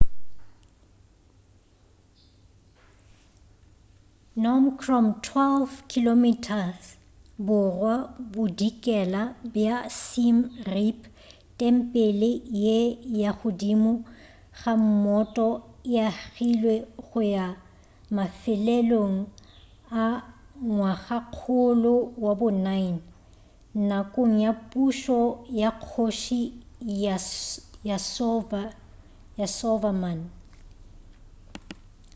phnom krom 12 km borwa-bodikela bja siem reap tempele ye ya godimo ga mmoto e agilwe go ya mafelelong a ngwagakgolo wa bo 9 nakong ya pušo ya kgoši yasovarman